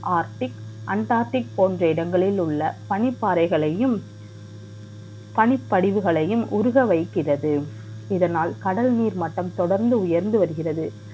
Arctic undertic போன்ற இடங்களில் உள்ள பனிப்பாறைகளையும் பணிப்படைவுகளையும் உருக வைக்கிறது இதனால் கடலில் மட்டும் தொடர்ந்து உயர்ந்து வருகிறது